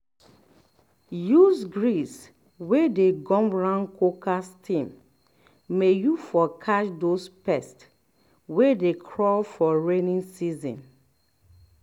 um use grease wey dey gum round cocoa stem may um you for catch dose pest um wey dey crawl for raining season